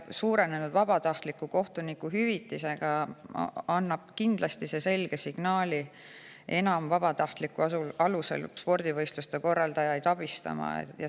Suurem vabatahtliku kohtuniku hüvitis annab kindlasti selge signaali, spordivõistluste korraldajaid vabatahtlikkuse alusel abistada kasvab.